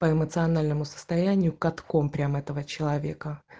по эмоциональному состоянию катком прямо этого человека